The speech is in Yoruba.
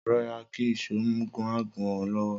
Ro̩ra kí ìs̩ó má gún o̩ ló̩wó̩!